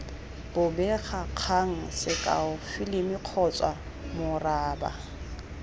bobegakgang sekao filimi kgotsa moraba